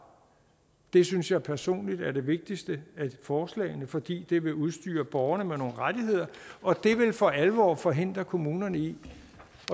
det synes jeg personligt er det vigtigste af forslagene fordi det vil udstyre borgerne med nogle rettigheder og det vil for alvor forhindre kommunerne i